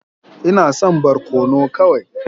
Ina son barkono kawai.